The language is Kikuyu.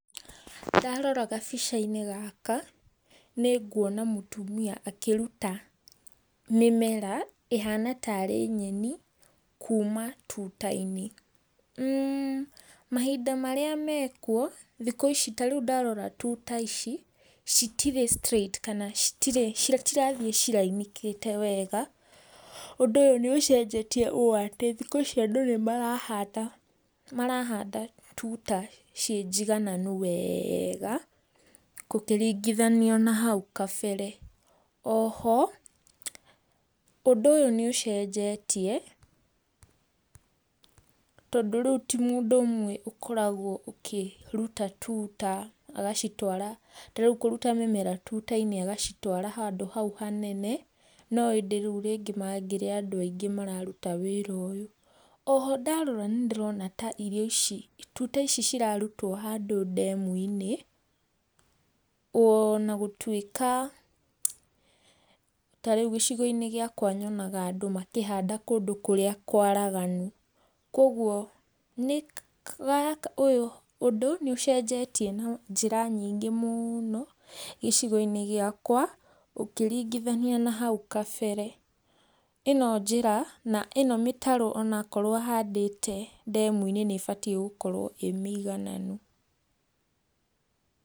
Ndarora gabica-inĩ gaka nĩngũona mũtumia akĩrũta mĩmera ihana tarĩ nyeni kuma tuta-inĩ. Mahinda marĩa mekũo, thikũ ici tarĩũ ndarora tuta ici citirĩ straight kana citirĩ kana citirathiĩ cirainĩkĩte wega. Ũndũ ũyũ nĩũcenjetie ũ ati andu nĩmarahanda, marahanda tuta ciĩnjigananu wega gũkĩringithanio na hau kabere. Oho ũndũ ũyũ nĩũcenjetie, tondũ rĩũ ti mũndũ ũmwe ũkoragwo ũkĩruta tuta agacitwara, ta rĩũ kũruta mĩmera tuta-inĩ agacitwara handũ hau hanene, no ĩndĩ mangĩrĩ andũ aingĩ mararuta wĩra ũyũ. O ho ndarora nĩndĩrona ta irio ici, tuta ici cirarutwo handu ndemu-inĩ, ona gũtuĩka ta rĩu gĩcigo-inĩ giakwa nyonaga andũ makĩhanda kũndũ kũrĩa kwaraganu. Kogũo nĩgaka, ũyũ ũndũ nĩũcenjetie na njĩra nyingĩ mũno gĩcigo-inĩ giakwa ũkĩringĩthania na hau kabere, ino njĩra, na ĩno mitaro onakorwo ahandĩte ndemu-inĩ nĩbatiĩ gũkorwo ĩmĩigananu.